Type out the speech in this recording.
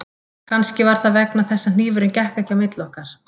Kannski var það vegna þess að hnífurinn gekk ekki milli okkar